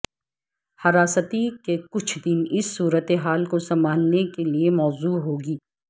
حراستی کے کچھ دن اس صورت حال کو سنبھالنے کے لئے موزوں ہو گی